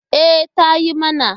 E, ta yi mana.